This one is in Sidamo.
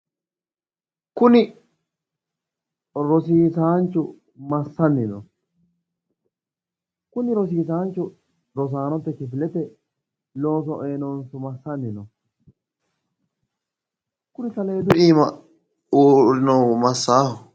Kuni rosiisaanchu massanni no? Kuni rosiisaanchu rosaanote kifilete looso ee noonso massanni no? Kuni saleedu iima uurrinohu masaaho?